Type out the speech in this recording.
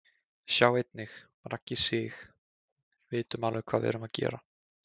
Sjá einnig: Raggi Sig: Vitum alveg hvað við erum að gera